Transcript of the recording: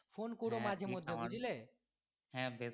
phone করো মাঝে মধ্যে বুজলে